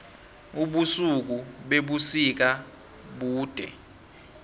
ubusuku bebusika bude